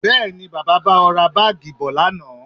Bẹẹ̀ni, Bàbá bá ọ ra Báágì bọ̀ lánàá